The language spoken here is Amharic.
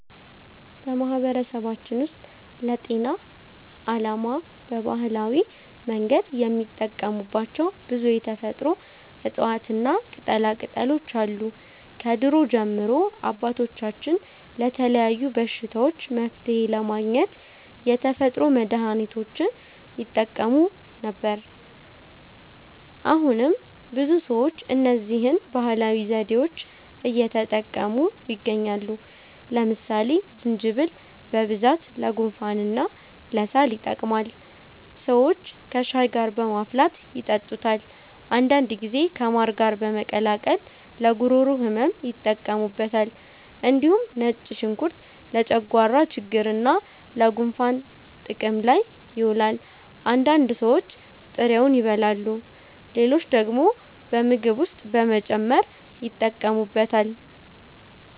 በማህበረሰባችን ውስጥ ለጤና ዓላማ በባህላዊ መንገድ የሚጠቀሙባቸው ብዙ የተፈጥሮ እፅዋትና ቅጠላቅጠሎች አሉ። ከድሮ ጀምሮ አባቶቻችን ለተለያዩ በሽታዎች መፍትሔ ለማግኘት የተፈጥሮ መድሀኒቶችን ይጠቀሙ ነበር። አሁንም ብዙ ሰዎች እነዚህን ባህላዊ ዘዴዎች እየተጠቀሙ ይገኛሉ። ለምሳሌ ዝንጅብል በብዛት ለጉንፋንና ለሳል ይጠቅማል። ሰዎች ከሻይ ጋር በማፍላት ይጠጡታል። አንዳንድ ጊዜ ከማር ጋር በመቀላቀል ለጉሮሮ ህመም ይጠቀሙበታል። እንዲሁም ነጭ ሽንኩርት ለጨጓራ ችግርና ለጉንፋን ጥቅም ላይ ይውላል። አንዳንድ ሰዎች ጥሬውን ይበላሉ፣ ሌሎች ደግሞ በምግብ ውስጥ በመጨመር ይጠቀሙበታል።